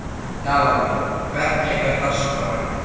Kjallakur, hvernig er dagskráin?